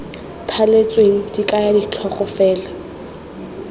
thaletsweng di kaya ditlhogo fela